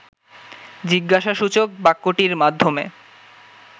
জিজ্ঞাসাসূচক বাক্যটির মাধ্যমে